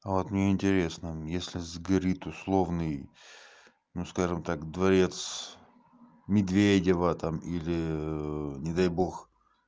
а вот мне интересно если сгорит условный ну скажем так дворец медведева там или не дай бог